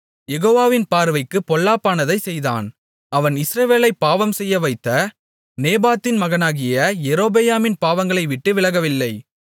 யெகோவாவின் பார்வைக்குப் பொல்லாப்பானதைச் செய்தான் அவன் இஸ்ரவேலைப் பாவம்செய்யவைத்த நேபாத்தின் மகனாகிய யெரொபெயாமின் பாவங்களைவிட்டு விலகவில்லை